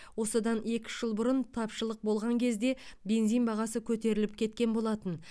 осыдан екі үш жыл бұрын тапшылық болған кезде бензин бағасы көтеріліп кеткен болатын